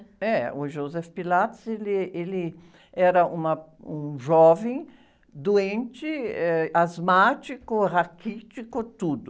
É, o Joseph Pilates ele, ele, era uma, um jovem, doente, eh, asmático, raquítico, tudo.